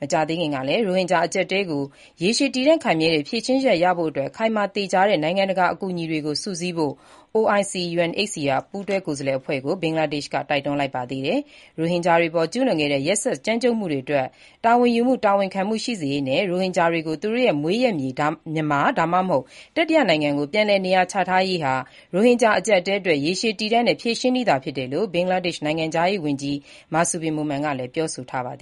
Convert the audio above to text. မကြာသေးခင်ကလည်း ရိုဟင်ဂျာအကျပ်အတည်းကို ရေရှည်တည်တံ့ခိုင်မြဲတဲ့ ဖြေရှင်းချက်ရဖို့အတွက် ခိုင်မာသေချာတဲ့ နိုင်ငံတကာအကူအညီတွေကို စုစည်းဖို့ OIC-UNHCR ပူးတွဲကိုယ်စားလှယ်အဖွဲ့ကို ဘင်္ဂလားဒေ့ရှ်က တိုက်တွန်း လိုက်ပါတယ်။ ရိုဟင်ဂျာတွေအပေါ် ကျူးလွန်ခဲ့တဲ့ ရက်စက်ကြမ်းကြုတ်မှုတွေအတွက် တာဝန်ယူမှု၊ တာဝန်ခံမှု ရှိစေရေးနဲ့ ရိုဟင်ဂျာတွေကို သူတို့ရဲ့ မွေးရပ်မြေ၊ မြန်မာ ဒါမှမဟုတ် တတိယနိုင်ငံကို ပြန်လည်နေရာချထားရေးဟာ ရိုဟင်ဂျာ အကျပ်အတည်းအတွက် ရေရှည်တည်တံ့တဲ့ ဖြေရှင်းနည်းသာဖြစ်တယ်လို့ ဘင်္ဂလားဒေ့ရှ် နိုင်ငံခြားရေးဝန်ကြီး Masud Bin Momen က ပြောဆိုထားပါတယ